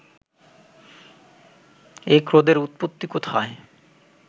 এই ক্রোধের উৎপত্তি কোথায়